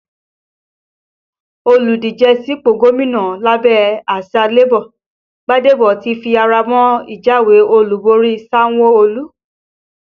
Olùdíje sípò gómìnà lábẹ́ àsìá Labour Gbadebo ti fi ara mọ́ ìjáwé olúborí Sanwo-Olu